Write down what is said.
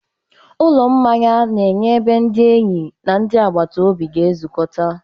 Ụlọ mmanya na-enye ebe ndị enyi na ndị agbata obi ga-ezukọta.